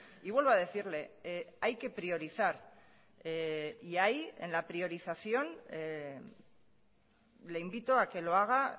y vuelvo a decirle hay que priorizar y ahí en la priorización le invito a que lo haga